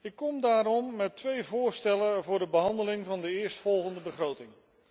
Ik kom daarom met twee voorstellen voor de behandeling van de eerstvolgende begroting.